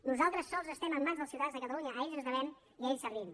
nosaltres sols estem ens mans dels ciutadans de catalunya a ells ens devem i a ells servim